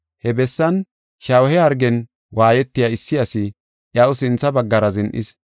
He bessan shawuhe hargen waayetiya issi asi iyaw sintha baggara zin7is.